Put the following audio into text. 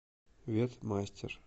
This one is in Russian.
ветмастер